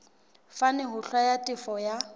fane ho hlwaya tefo ya